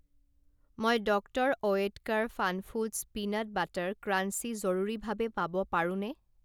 মই Doctor Oetker Funfoods peanut butter crunchy জৰুৰীভাৱে পাব পাৰোঁনে?